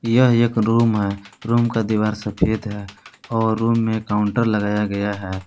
यह एक रूम है रूम का दीवार सफ़ेद है और रूम में काउंटर लगाया गया है।